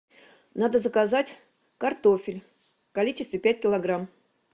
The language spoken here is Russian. надо заказать картофель в количестве пять килограмм